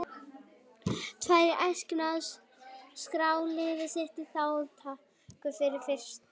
Því er æskilegt að skrá lið sitt til þátttöku sem fyrst.